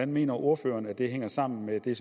mener ordføreren det hænger sammen med det